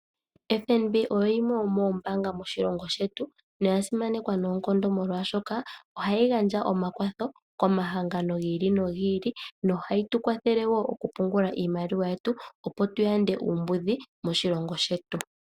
FNB oyo yimwe yomoombanga moshilongo shetu noyasimanekwa noonkondo oshoka ohayi gandja omakwatho komahangano gi ili nogi ili. Ohayi tu kwathele oku pungula iimaliwa yetu opo tuyande uumbudhi moshilongo shetu.